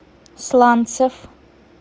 сланцев